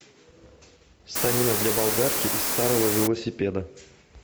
станина для болгарки из старого велосипеда